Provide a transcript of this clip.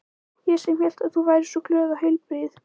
Ég sem hélt að þú væri svo glöð og heilbrigð.